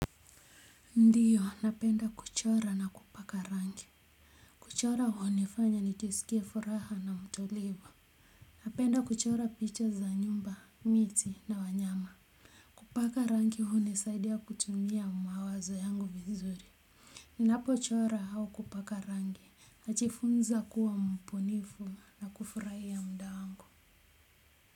Ndio napenda kuchora na kupaka rangi, kuchora hunifanya nijisiki furaha na mtulivu, napenda kuchora picha za nyumba miti na wanyama kupaka rangi hunisaidia kutumia mawazo yangu vizuri ninapo chora au kupaka rangi najifunza kuwa mbunifu na kufurahia muda wangu.